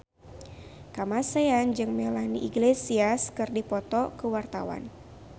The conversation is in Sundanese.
Kamasean jeung Melanie Iglesias keur dipoto ku wartawan